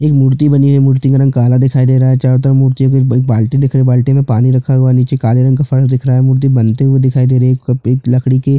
ये मूर्ति बनी है मूर्ति का रंग काला दिखाई दे रहा है चारों तरफ मूर्तियों के एक बाल्टी दिख रही है बाल्टी में पानी रखा हुआ है नीचे काले रंग का फर्श दिख रहा है मूर्ति बनते हुए दिखाई दे रही है कपित लकड़ी की --